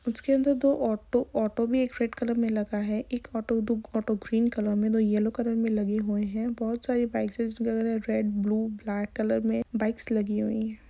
उसके अंदर दो ऑटो ऑटो भी एक रेड कलर मे लगा है एक ऑटो ऑटो ग्रीन कलर मे दो येलो कलर मे लगे हुए है बहुत सारी बाइक्स वगेरह रेड ब्लू ब्लैक कलर में बाइक्स लगी हुई हैं।